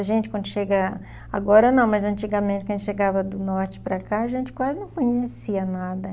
A gente, quando chega... Agora não, mas antigamente, quando chegava do norte para cá, a gente quase não conhecia nada.